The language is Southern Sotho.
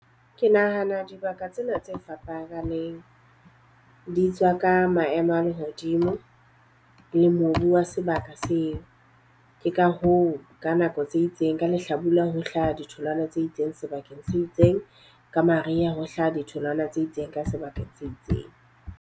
Ke nahana dibaka tsena tse fapaneng di tswa ka maemo a lehodimo le mobu wa sebaka seo. Ke ka hoo ka nako tse itseng ka lehlabula ho hlaha ditholwana tse itseng sebakeng se itseng, ka mariha ho hlaha ditholwana tse itseng ka sebakeng se itseng.